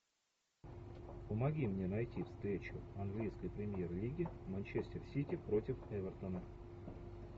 помоги мне найти встречу английской премьер лиги манчестер сити против эвертона